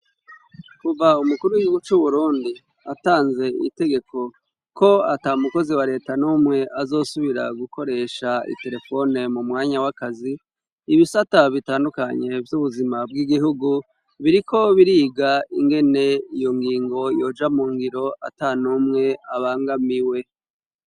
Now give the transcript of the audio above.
Kuva umukuru w'igigu c'uburundi atanze itegeko ko ata mukozi wa leta n'umwe azosubira gukoresha itelefone mu mwanya w'akazi ibisa ata bitandukanye vy'ubuzima bw'igihugu biriko biriga ingene iyo ngingo yoja mu ngiro ata n'umwe abangamiye ue.